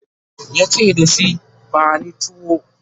yace dashi "bani tiyo!"